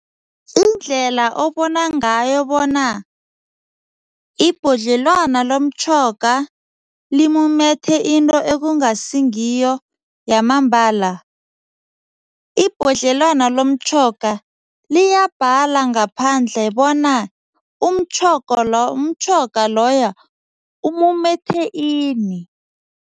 Indlela obona ngayo bona ibhodlelwana lomtjhoga limumethe into ekungasingiyo yamambala, ibhodlelwana lomtjhoga liyabhala ngaphandle bona umtjhoga lo umtjhoga loyo umumethe ini.